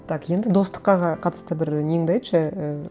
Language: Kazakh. так енді достыққа қатысты бір неңді айтшы ііі